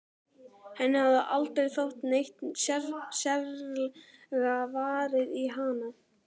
Henni hafði aldrei þótt neitt sérlega varið í hann.